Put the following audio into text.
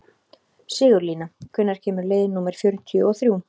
Sigurlína, hvenær kemur leið númer fjörutíu og þrjú?